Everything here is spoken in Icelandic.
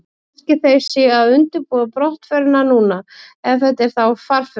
Kannski þeir séu að undirbúa brottförina núna, ef þetta eru þá farfuglar.